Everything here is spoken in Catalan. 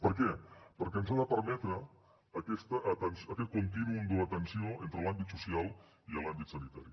per què perquè ens ha de permetre aquest contínuum donar atenció entre l’àmbit social i l’àmbit sanitari